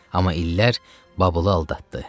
Amma illər Babulu aldatdı.